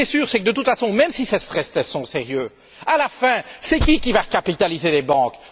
Ce qui est sûr, c'est que, de toute façon, même si ces stress tests sont sérieux, à la fin, qui va capitaliser les banques?